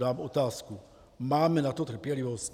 Dám otázku: Máme na to trpělivost?